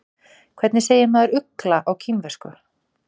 Hvernig segir maður ugla á kínversku?